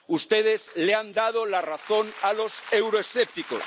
Ustedes les han dado la razón a los euroescépticos.